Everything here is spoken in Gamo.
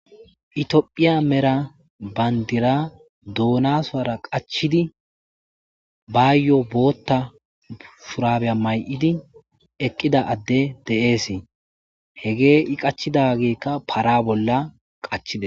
Ethiopia mera bandira doona soora qacciddi baayo bootha shuraabiya mayiddi eqida addey de'ees hegeey qachidakka parabola qachidees.